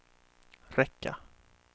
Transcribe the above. räcka